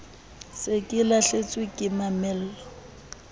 se ke lahlehetswe ke mamello